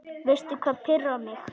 Veistu hvað pirrar mig?